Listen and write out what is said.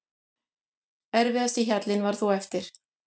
Erfiðasti hjallinn var þó eftir.